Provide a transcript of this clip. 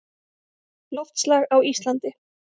Loftslag á Íslandi